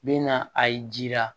Bɛ na a ye ji la